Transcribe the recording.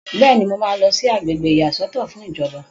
Bẹ́ẹ̀ni, mo máa lọ sí àgbègbè ìyàsọ́tọ̀ fún ìjọba